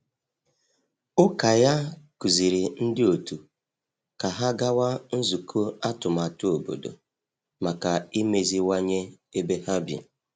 Ụka ya kụziri ndị otu ka ha gawa nzukọ atụmatụ obodo maka imeziwanye ebe ha bi.